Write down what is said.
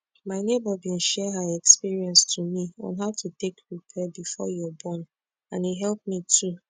my neighbor bin share her experience to me on how to take prepare before your born and e help me too